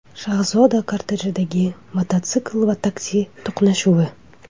Shahzoda kortejidagi mototsikl va taksi to‘qnashuvi.